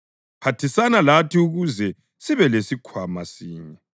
phathisana lathi ukuze sibelesikhwama sinye”